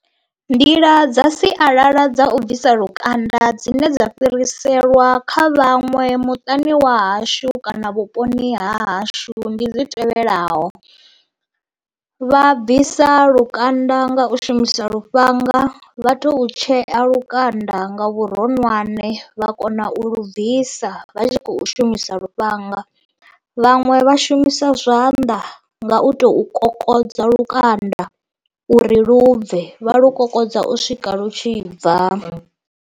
Nḓila dza sialala dza u bvisa lukanda dzine dza fhiriselwa kha vhaṅwe muṱani wa hashu kana vhuponi ha hashu ndi dzi tevhelaho, vha bvisa lukanda nga u shumisa lufhanga vha to tshea lukanda nga vhuronwane vha kona u lu bvisa vha tshi khou shumisa lufhanga, vhaṅwe vha shumisa zwanḓa nga u tou kokodza lukanda uri lubvhe, vha lu kokodza u swika lwu tshi bva.